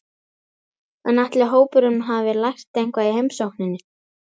En ætli hópurinn hafi lært eitthvað í heimsókninni?